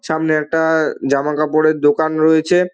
সামনে একটা-আ জামা কাপড়ের দোকান রয়েছে ।